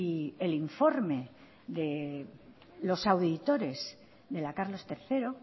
el informe de los auditores de la carlos tercero